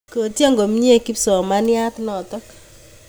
Kotyen komnye kipsomaniat notok